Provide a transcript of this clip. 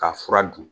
K'a fura dun